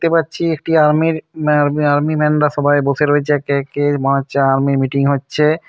দেখতে পাচ্ছি একটি আর্মি র মা আর্মি ম্যান রা সবাই বসে রয়েছে কে কে মনে হচ্ছে আর্মি মিটিং হচ্ছে।